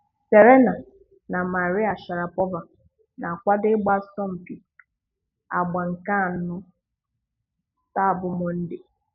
Serena na Maria Sharapova na-akwado ịgba asọmpị àgbà nke anọ taa bụ Mọnde.